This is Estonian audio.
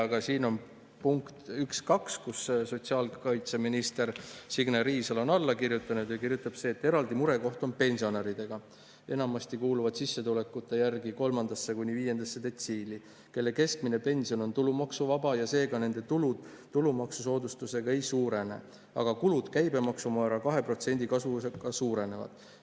Aga siin on punkt 1.2, millele sotsiaalkaitseminister Signe Riisalo on alla kirjutanud, ja ta kirjutab nii: "Eraldi murekoht on pensionäridega , kelle keskmine pension on tulumaksuvaba ja seega nende tulud tulumaksu ei suurene, aga kulud käibemaksumäära kahe protsendipunktilise kasvuga suurenevad.